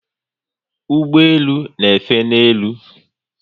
Ụgbọelu n'efe n'elu